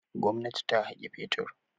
Gwamnati ta haƙi fetur.